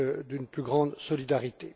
d'une plus grande solidarité.